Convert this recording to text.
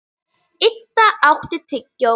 Það er ennþá mögulegt.